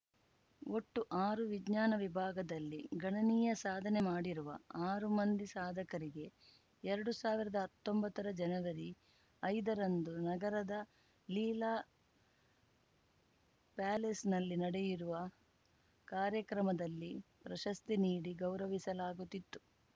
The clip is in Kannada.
ಒಟ್ಟು ಆರು ವಿಜ್ಞಾನ ವಿಭಾಗದಲ್ಲಿ ಗಣನೀಯ ಸಾಧನೆ ಮಾಡಿರುವ ಆರು ಮಂದಿ ಸಾಧಕರಿಗೆ ಎರಡು ಸಾವಿರದ ಹತ್ತೊಂಬತ್ತರ ಜನವರಿ ಐದರಂದು ನಗರದ ಲೀಲಾ ಪ್ಯಾಲೇಸ್‌ನಲ್ಲಿ ನಡೆಯಿರುವ ಕಾರ್ಯಕ್ರಮದಲ್ಲಿ ಪ್ರಶಸ್ತಿ ನೀಡಿ ಗೌರವಿಸಲಾಗುತ್ತಿತ್ತು